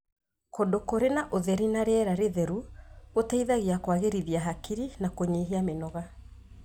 Kũndũ kũrĩ na ũtheri na rĩera rĩtheru gũteithagia kũagĩrithia hakiri na kũnyihia mĩnoga.